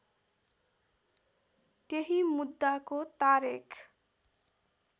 त्यही मुद्दाको तारेख